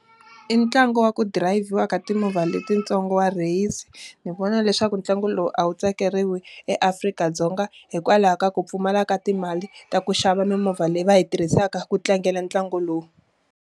I ntlangu wa ku dirayivhiwa ka timovha letintsongo wa rheyisi. Ni vona leswaku ntlangu lowu a wu tsakeriwi eAfrika-Dzonga, hikwalaho ka ku pfumala ka timali ta ku xava mimovha leyi va yi tirhisaka ku tlangela ntlangu lowu.